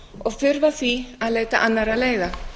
og þurfa því að leita annarra leiða